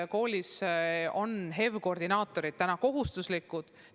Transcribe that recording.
Koolides on HEV‑koordinaatorid kohustuslikud.